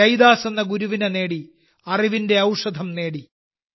രൈദാസ് എന്ന ഗുരുവിനെ നേടി അറിവിന്റെ ഔഷധം നേടി